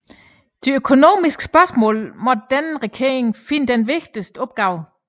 I de økonomiske spørgsmål måtte denne regering finde sin vigtigste opgave